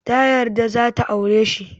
Ta yarda za ta aure shi.